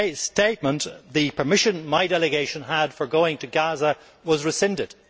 statement, the permission my delegation had for going to Gaza was rescinded.